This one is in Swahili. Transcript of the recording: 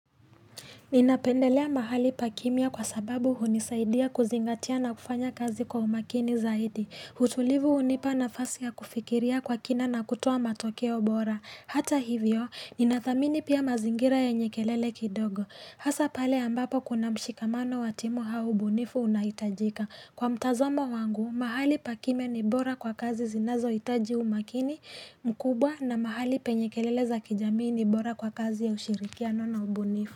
Ninapendelea mahali pakimya kwa sababu hunisaidia kuzingatia na kufanya kazi kwa umakini zaidi Hutulivu hunipa na fasi ya kufikiria kwa kina na kutoa matokeo bora Hata hivyo, ninathamini pia mazingira ya nyekelele kidogo Hasa pale ambapo kuna mshikamano watimu au ubunifu unahitajika Kwa mtazomo wangu, mahali pakimya ni bora kwa kazi zinazohitaji umakini mkubwa na mahali penye kelele za kijamii ni bora kwa kazi ya ushirikia na ubunifu.